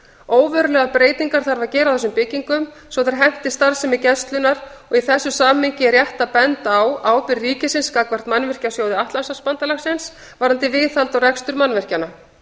óverulegar breytingar þarf að gera á þessum byggingum svo þær henti starfsemi gæslunnar og í þessu samhengi er rétt að benda á ábyrgð ríkisins gagnvart mannvirkjasjóði atlantshafsbandalagsins varðandi viðhald og rekstur mannvirkjanna